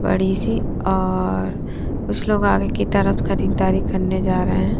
बड़ी सी और कुछ लोग आगे की तरफ खरीदारी करने जा रहे है।